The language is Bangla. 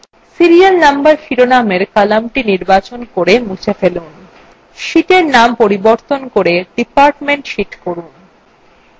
serial number শিরোনামের কলামটি নির্বাচন করে মুছে ফেলুন sheetএর নাম পরিবর্তন করে department sheet করুন